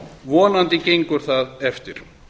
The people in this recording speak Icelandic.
vonandi gengur það eftir